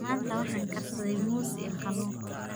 Maanta waxaan karsaday muus iyo kalluun.